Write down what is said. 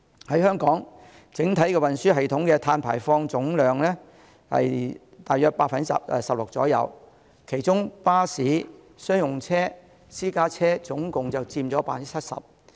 香港整體運輸系統的碳排放佔總量約 16%， 其中巴士、商用車、私家車共佔 70%。